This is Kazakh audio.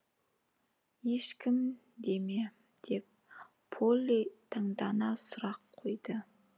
ешкім де ме деп полли таңдана сұрақ қойды